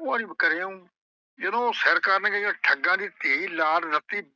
ਉਹ ਆਹਂਦੀ ਬਈ ਕਰ ਆਂਉ ਉਹ ਜਦੋਂ ਉਹ ਸਿਰ ਕਰਨ ਗਈ, ਉਹ ਠੱਗਾਂ ਦੀ ਧੀ ਲਾਲ ਰਤੀ।